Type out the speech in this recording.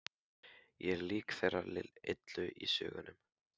Ég er lík þeirri illu í sögunum.